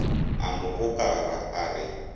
a mo gokara a re